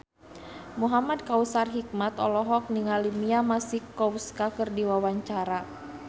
Muhamad Kautsar Hikmat olohok ningali Mia Masikowska keur diwawancara